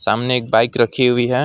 सामने एक बाइक रखी हुई है।